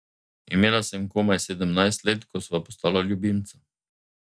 Imela sem komaj sedemnajst let, ko sva postala ljubimca.